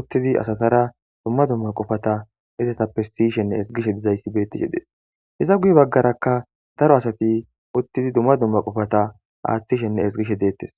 uttizi asatara dumma dumma qofata isetappe siyshenne esgishshe dizayssi bettishe dees iza guye baggarakka daro asati uttizi dumma dumma qofata aaththishenne esgishe deettes.